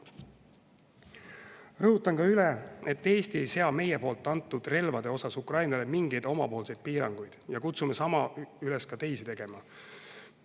Rõhutan ka üle, et Eesti ei sea meie antud relvade osas Ukrainale mingeid piiranguid ja kutsume üles ka teisi sama tegema.